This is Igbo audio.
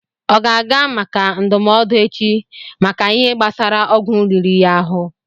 Ọ ga-aga maka ndụmọdụ echi, maka Ihe gbásara ọgwụ riri ya ahụ